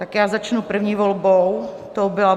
Tak já začnu první volbou, tou byla